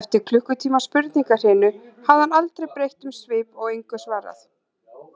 Eftir klukkutíma spurningahrinu hafði hann aldrei breytt um svip og engu svarað.